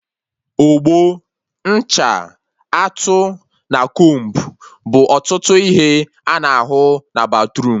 Ogbo, ncha, atụ, na combu bụ ọtụtụ ihe a na ahụ na batruum